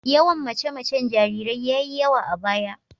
Yawan mace-macen jarirai ya yi yawa a baya.